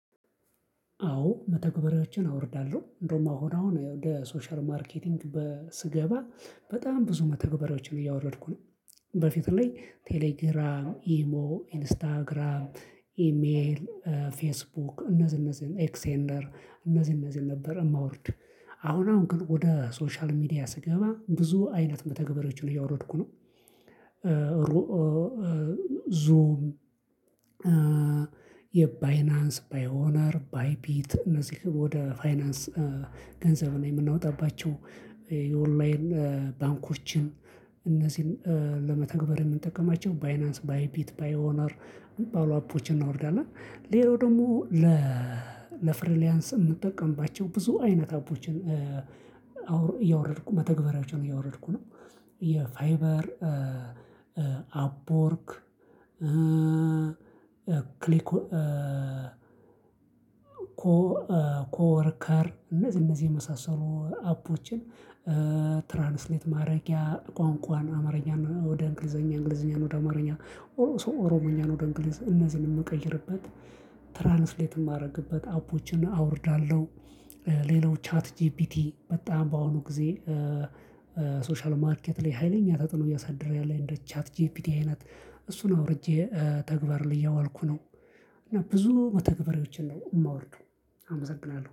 አዎ መተግበሪያዎችን አወርዳለሁ እንደውም አሁን አሁን ለሶሻል ማርኬቲንግ በስገባ በጣም ብዙ መተግበሪያዎችን እያወረድኩ ነው በፊት ላይ ቴሌግራም ኢሞ ኢንስታግራም ኢሜል ፌስቡክ እነዚህ እነዚህን ኤክሴንደር እነዚህ እነዚህን ነበር የማወርድ አሁን አሁን ግን ወደ ሶሻል ሚዲያ ስገባ ብዙ አይነት መተግበሪያዎችን እያወረድኩ ነው። ሩኦ ዞም የባይናንስ ባይኦነር ባይፒት እነዚህ ወደ ፋይናንስ ገንዘብ ነው የምናወጣባቸው የኦንላይን ባንኮችን እነዚህን ለመተግበር የምንጠቀማቸው ባይናንስ ባይፒት ባይኦነር እሚባሉ አፖችን እናወርዳለን። ሌላው ደግሞ ለፍሪሊያንስ የምንጠቀምባቸው ብዙ አይነት አፖችን እያወረድኩ መተግበራያዎችን እያወረድኩ ነው። የፋይበር አፖርክ ክሊክ ኮ ኮወርከር እነዚህ እነዚህ የመሳሰሉ አፖችን ትራንስሌት ማድረጊያ ቋንቋን አማርኛ ወደ እንግሊዘኛ እንግሊዘኛ ወደ አማርኛ ኦሮሞኛ ወደ እንግሊዝ እነዚህን የምቀይርበት ትራንስሌት የማደርግበት አፖችን አወርዳለሁ። ሌላው ቻት ጂፒቲ በጣም በአሁኑ ጊዜ ሶሻል ማርኬት ላይ ሀይለኛ ተጥኖ እያሳደረ ያለው እንደ ቻት ጂፒቲ አይነት እሱን አውርጄ ተግባር እያዋልኩ ነው። እና ብዙ መተግበሪያዎችን ነው የማወርደው አመሰግናለሁ